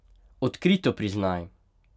Odkrito priznaj!